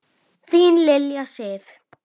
Þín Lilja Sif.